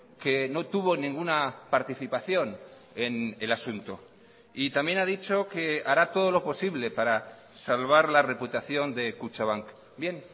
que no tuvo ninguna participación en el asunto y también ha dicho que hará todo lo posible para salvar la reputación de kutxabank bien